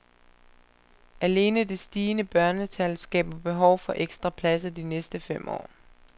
Alene det stigende børnetal skaber behov for ekstra pladser de næste fem år.